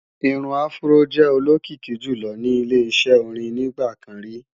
Irun afró jẹ́ olókìkí jùlọ ní ile-iṣẹ́ orin nígbà kan rí